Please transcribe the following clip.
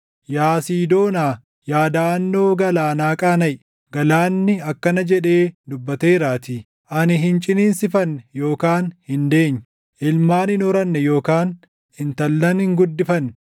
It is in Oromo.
Yaa Siidoonaa, yaa daʼannoo galaanaa qaanaʼi; galaanni akkana jedhee dubbateeraatii: “Ani hin ciniinsifanne yookaan hin deenye; ilmaan hin horanne yookaan intallan hin guddifanne.”